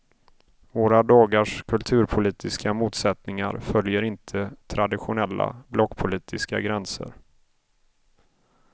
Våra dagars kulturpolitiska motsättningar följer inte traditionella blockpolitiska gränser.